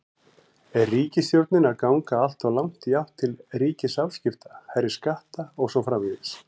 Er ríkisstjórnin að ganga alltof langt í átt til ríkisafskipta, hærri skatta og svo framvegis?